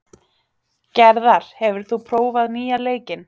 Gerðar, hefur þú prófað nýja leikinn?